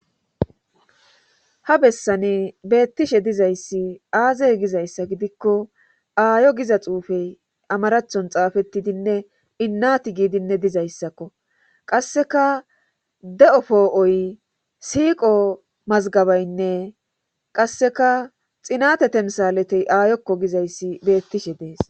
Ha bessani beettishe dizayssi aazey gizayssa gidikko aayo giza xuufey amarachon xaafettidinne innati giidinne dizayssakko qasseka de'o poo'oy siiqo mazgabaynne qasseka xinate temsaletey aayokko gizayssi beettishe dees.